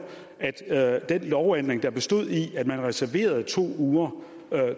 at at den lovændring der bestod i at man reserverede to uger